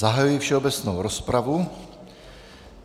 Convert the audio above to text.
Zahajuji všeobecnou rozpravu.